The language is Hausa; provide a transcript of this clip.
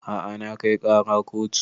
A'a na kai ƙara kotu